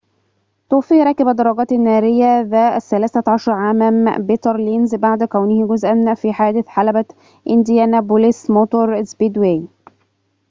توفى راكب الدراجات النارية ذا ال13 عام بيتر لينز بعد كونه جزءاً في حادث حلبة إنديانابوليس موتور سبيدواي